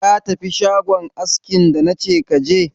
Ka tafi shagon askin da nace ka je?